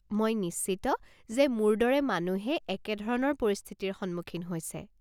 মই নিশ্চিত যে মোৰ দৰে মানুহে একে ধৰণৰ পৰিস্থিতিৰ সন্মুখীন হৈছে।